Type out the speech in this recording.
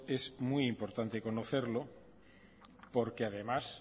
es muy importante conocerlo porque además